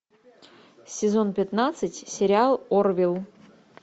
сезон пятнадцать сериал орвилл